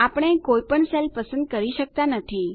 આપણે કોઇ પણ સેલ પસંદ કરી શકતા નથી